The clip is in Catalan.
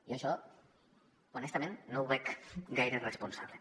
jo això honestament no ho veig gaire responsable